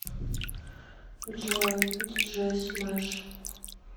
джой диджей смэш